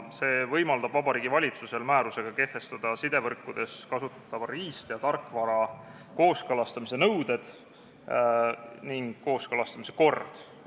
See võimaldab Vabariigi Valitsusel määrusega kehtestada sidevõrkudes kasutatava riist- ja tarkvara kooskõlastamise nõuded ning kord.